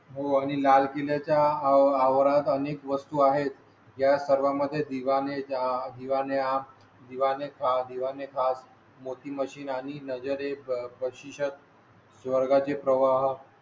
हो आणि लाल किल्ल्या च्या आवारात अनेक वस्तू आहेत. या सर्वा मध्ये दिवा ने दिवा ने आम दिवा ने सहा दिवा ने खास मोती मशीन आणि नजरे प्रशिक्षक वर्गाची प्रवाह